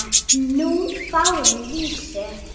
Nú fáum við vísu?